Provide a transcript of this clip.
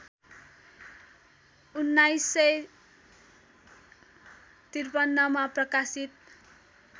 १९५३ मा प्रकाशित